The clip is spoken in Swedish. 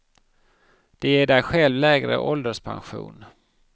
Det ger dig själv lägre ålderspension.